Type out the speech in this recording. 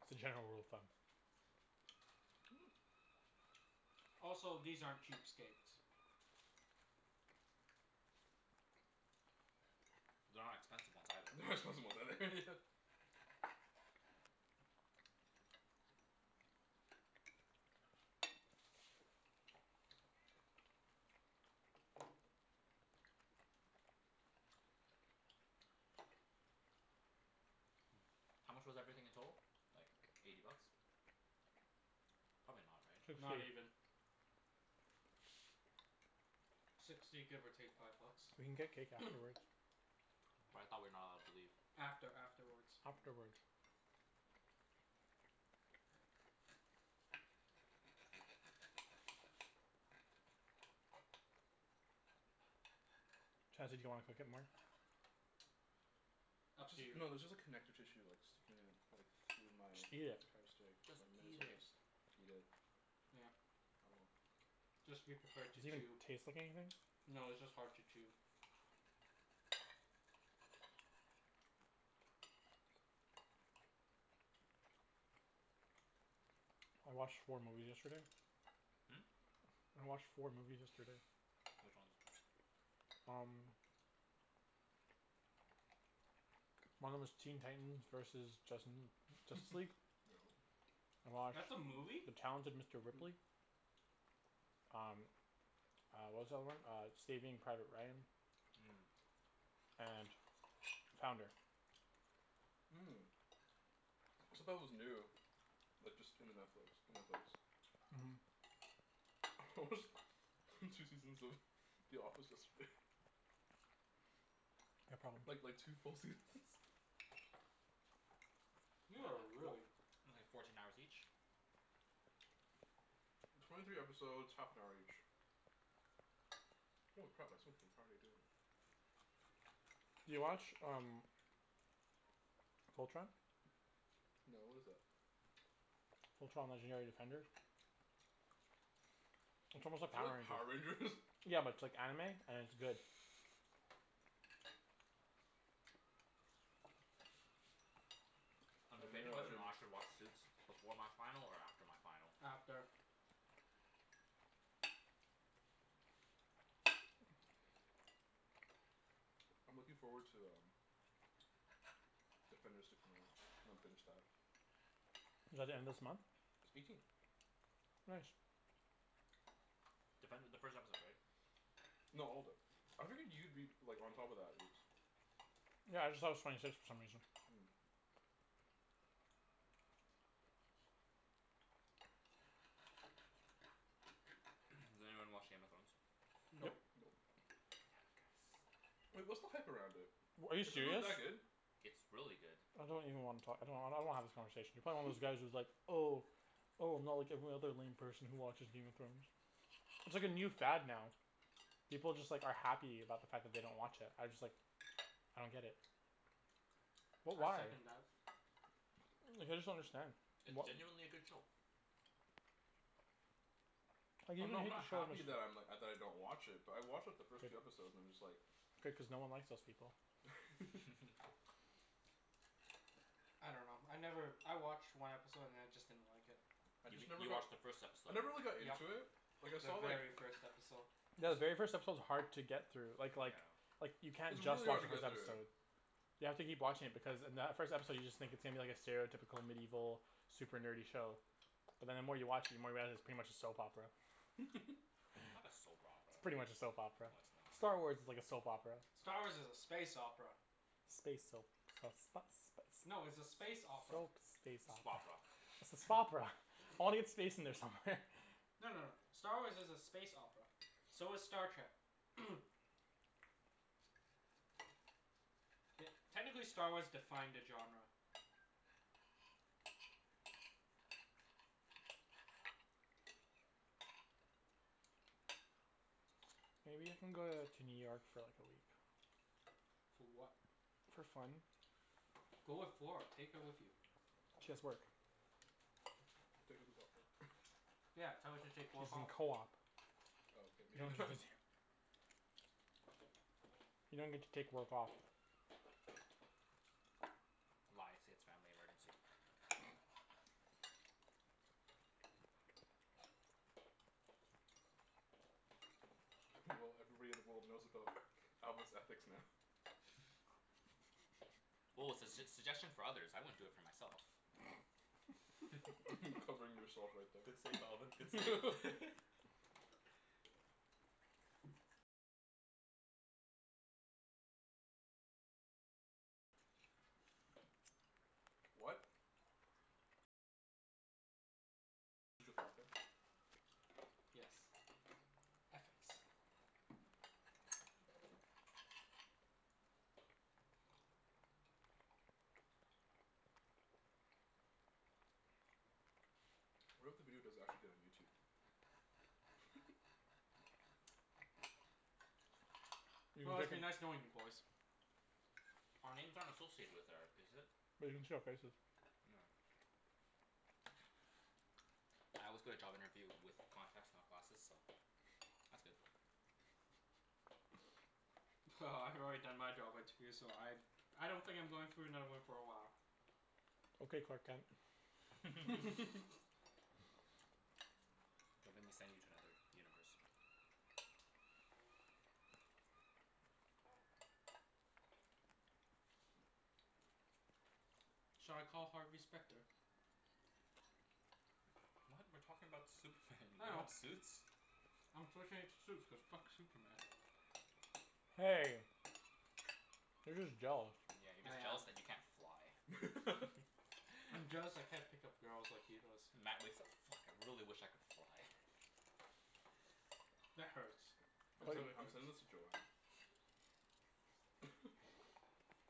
It's a general rule of thumb. Also, these aren't cheap steaks. They're not expensive ones either. They're not expensive ones either Yeah. How much was everything in total? Like eighty bucks. Probably not, right? Sixty. Not even. Sixty give or take five bucks. We can get cake afterwards. But I thought we're not allowed to leave. After afterwards. Afterwards. Chancey do you wanna cook it more? Up It's to you. just no there's just like connective tissue like sticking in like through my Just eat it. entire steak so Just I may as eat well it. just eat it. Yeah. Oh well. Just be prepared Does to it even chew. taste like anything? No, it's just hard to chew. I watched four movies yesterday. I watched four movies yesterday. Which ones? Um. One of 'em was Teen Titans versus Justin Justice League. Yep. I watched That's a movie? "The Talented Mister Mhm. Ripley." Um uh what was the other one? Uh "Saving Private Ryan." Mmm. And "Founder." Said that was new. Like just in the Netflix. In Netflix. Mhm. I watched two seasons of The Office yesterday. Yeah, probably. Like like two full seasons You That are like four- really only fourteen hours each? Twenty three episodes half an hour each. Holy crap I spent the entire day doing it. You watch um "Fultron?" No what is that? "Fultron, Legendary Defenders?" It's Is almost like that Power like Power Rangers? Rangers. Yeah but it's like anime and it's good. Uh I'm debating no I whether or didn't. not I should watch Suits before my final or after my final. After I'm looking forward to um Defenders to come out. I'm gonna binge that. Is that the end of this month? It's eighteen. Nice. Defender the first episode right? No all of it. I figured you'd be like on top of that Ibs. Yeah I just thought it was twenty six for some reason. Does anyone watch Game of Thrones? Nope. Nope. Nope. Damn it guys. Wait, what's the hype around it? W- are you Is it really serious? that good? It's really good. I don't even wanna talk I don't- I don't wanna have this conversation. You're probably one of those guys who's like "Oh "Oh I'm not like every other lame person who watches Game of Thrones." It's like a new fad now. People just like are happy about the fact that they don't watch it. I just like I don't get it. What I why? second that. Like I just don't understand. It's What genuinely a good show. Like even I'm not if I'm you not have the show happy just that I'm like, uh, that I don't watch it but I watched like the first two episodes and I'm just like Good cuz no one likes those people. I dunno. I never, I watched one episode and then I just didn't like it. I You just mean- never you got watched the first I episode. never really got Yep, into it Like I the saw like very first episode. Yeah the very first episode is hard to get through. Like like Yeah. like you can't It's just really watch hard to the first get through. episode. You have to keep watching it because in that first episode you just think it seems like a stereotypical medieval super nerdy show But then the more you watch it the more you realize it's pretty much a soap opera. Not a soap It's opera. pretty much a soap opera. No it's Star not. Wars is like a soap opera. Star Wars is a space opera. Space soap No it's a soap space space opera. opera. Spopera. It's a "Spopera." Audience space in there somewhere. No no no. Star Wars is a space opera. So is Star Trek. Te- technically Star Wars defined the genre. Maybe you can go uh to New York for like a week. For what? For fun. Go with Flor, take her with you. She has work. Take a week off work. Yeah, tell her to She's take work in off. co-op. Oh okay, maybe not. You don't get to take work off. Lie, say it's family emergency. Well everybody in the world knows about Alvin's ethics now. Well it's a s- suggestion for others. I wouldn't for do it myself. Covering yourself right Good there. save Alvin, good save. What? Yes. Ethics. What if the video does actually get on YouTube? You can Well, break it's it. been nice knowing you boys. Our names aren't associated with or is it? They can see our faces. Oh. I always go to job interview with contacts not glasses, so that's good. Well, I've already done my job interview so I I don't think I'm going through another one for a while. Okay Clark Kent. Don't make me send you to another universe. Shall I call Harvey Specter? What? We're talking about Superman, you're I talking know. about Suits? I'm switching it to Suits cuz fuck Superman. Hey. You're just jealous. Yeah, you're I just am. jealous that you can't fly. I'm jealous I can't pick up girls like he does. Matt wakes up: "Fuck, I really wish I could fly." That hurts. I'm That really sen- I'm hurts. sending this to Joanne.